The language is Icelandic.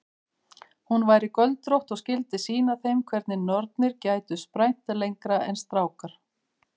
Hún væri göldrótt og skyldi sýna þeim hvernig nornir gætu sprænt lengra en strákar.